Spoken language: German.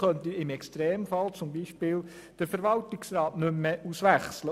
Aber er könnte im Extremfall zum Beispiel den Verwaltungsrat nicht mehr auswechseln.